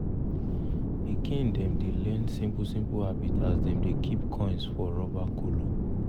pikin dem dey learn simple-simple habits as dem dey keep coins for rubber kolo.